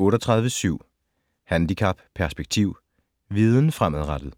38.7 Handicap - perspektiv: viden fremadrettet